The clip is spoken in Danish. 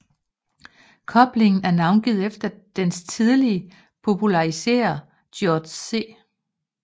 Koblingen er navngivet efter dens tidlige populariserer George C